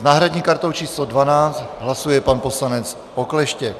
S náhradní kartou číslo 12 hlasuje pan poslanec Okleštěk.